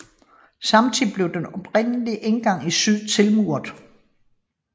Samtidig blev den oprindelige indgang i syd tilmuret